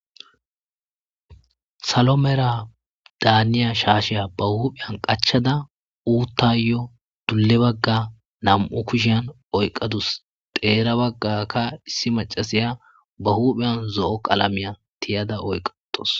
Issi aya salo mala daniza shashe hupheni qachada uthayo dule bagga oyikadda eqadusi, xerra bagga qassi issi maccasiya ba huphiyani z'o qalamiya tiyada oyika uttasu